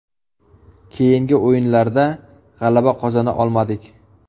Keyingi o‘yinlarda g‘alaba qozona olmadik.